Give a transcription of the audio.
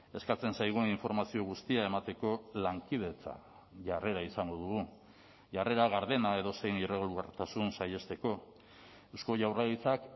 eskatzen zaigun informazio guztia emateko lankidetza jarrera izango dugu jarrera gardena edozein irregulartasun saihesteko eusko jaurlaritzak